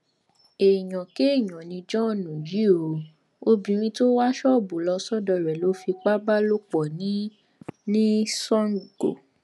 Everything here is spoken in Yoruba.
èèyàn kéèyàn ni john yìí ó obìnrin tó wá ṣọọbù lọ sọdọ rẹ ló fipá bá lò pọ ní ní sango